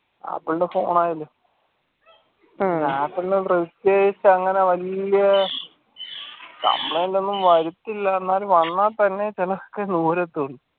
ആപ്പിൾൻറെ phone ആയാലും ആപ്പിളിൻറെ പ്രത്യേകിച്ച് അങ്ങനെ വെല്യ complaint വരുത്തില്ല എന്നാലും വന്നാലും തന്നെ